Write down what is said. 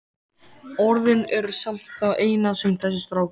Orðin eru samt það eina sem þessi strákur á.